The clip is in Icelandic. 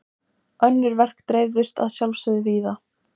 Önnur verk dreifðust að sjálfsögðu víða.